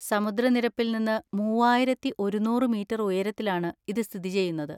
സമുദ്രനിരപ്പിൽ നിന്ന് മൂവായിരത്തി ഒരുന്നൂറ്‌ മീറ്റർ ഉയരത്തിലാണ് ഇത് സ്ഥിതി ചെയ്യുന്നത്.